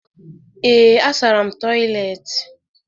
Ee, asara m toịletị.